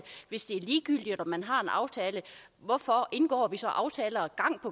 hvis det er ligegyldigt om man har en aftale hvorfor indgår vi så aftaler